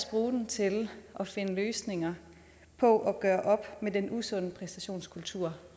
bruge den til at finde løsninger på at gøre op med den usunde præstationskultur